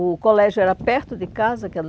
O colégio era perto de casa